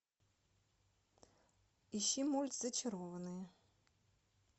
ищи мульт зачарованные